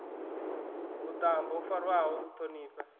vhuṱambo ho farwaho u ṱhonifha